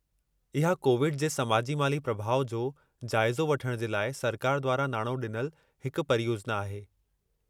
इहा कोविड जे समाजी-माली प्रभाउ जो जाइज़ो वठण जे लाइ सरकार द्वारां नाणो डि॒नलु हिकु परियोजना आहे।